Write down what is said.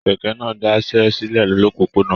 Kẹkẹ náà dasẹ́ silẹ lopopona.